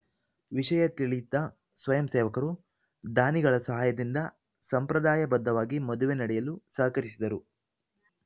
ವಿಷಯ ತಿಳಿದ ಸ್ವಯಂ ಸೇವಕರು ಧಾನಿಗಳ ಸಹಾಯದಿಂದ ಸಂಪ್ರದಾಯ ಬದ್ಧವಾಗಿ ಮದುವೆ ನಡೆಯಲು ಸಹಕರಿಸಿದರು